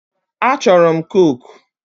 A chọrọ m kooku.